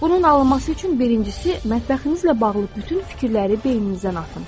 Bunun alınması üçün birincisi mətbəximizlə bağlı bütün fikirləri beyninizdən atın.